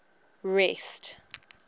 rest